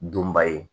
Dunba ye